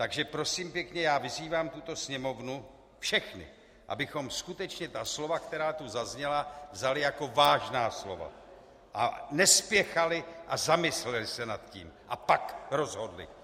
Takže prosím pěkně, já vyzývám tuto Sněmovnu, všechny, abychom skutečně ta slova, která tu zazněla, vzali jako vážná slova a nespěchali a zamysleli se nad tím a pak rozhodli.